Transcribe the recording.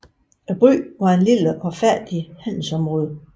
Byen var et lille og fattigt handelsområde